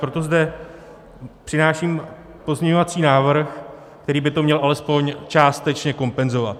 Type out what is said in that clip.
Proto zde přináším pozměňovací návrh, který by to měl alespoň částečně kompenzovat.